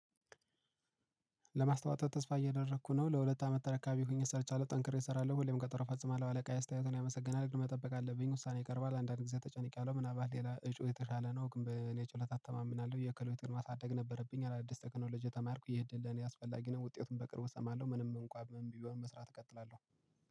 ለማስታወቂያ ተስፋ እያደረኩ ነው ለሁለት አመት ተረካቢ ሆኜ ሰርቻለሁ ጠንክሬ እሰራለሁ ሁሌም ቀጠሮ ፈጽማለሁ አለቃ አስተያየትን ያመሰግናል። ግን መጠበቅ አለብኝ ውሳኔ ይቀርባል አንዳንድ ጊዜ ተጨንቄያለሁ። ምናባት ሌላ እጩ የተሻለ ነው። ግን በኔ ችሎታ እተማምናለሁ የከሎች ግንኙነት አደግ ነበረብኝ። አዳዲስ ተከናውን ልጅ የተማርኩ የእድል ለኔ አስፈላጊ ነው። ውጤቱን በቅርቡ እሰማለሁ። ምንም እንኳን በእምቢው መስራት እቀጥላለሁ